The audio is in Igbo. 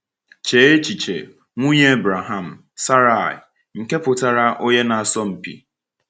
Chee echiche, nwunye Ebraham, Saraị, nke pụtara “onye na -asọ mpi.”